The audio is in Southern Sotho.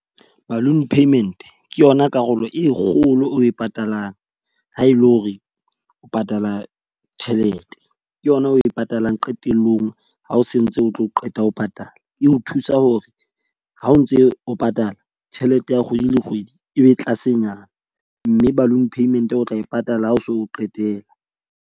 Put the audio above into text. Balloon payment ke yona karolo e kgolo o e patalang. Ha e le hore o patala tjhelete ke yona oe patalang qetellong, ha o sentse, o tlo qeta ho patala. E o thusa hore ha o ntse o patala tjhelete ya kgwedi le kgwedi e be tlasenyana. Mme balloon payment-e o tla e patala ha o se o qetela.